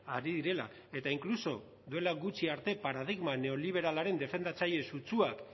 ari direla eta inkluso duela gutxi arte paradigma neoliberalaren defendatzaile sutsuak